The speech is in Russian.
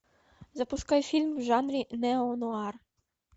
запускай фильм в жанре неонуар